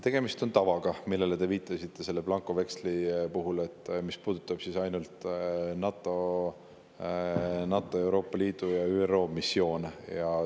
Tegemist on tavaga, millele te viitasite, blankoveksli puhul, mis puudutab ainult NATO, Euroopa Liidu ja ÜRO missioone.